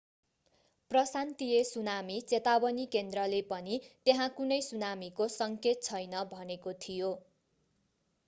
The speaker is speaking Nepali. प्रशान्तीय सुनामी चेतावनी केन्द्रले पनि त्यहाँ कुनै सुनामीको सङ्केत छैन भनेको थियो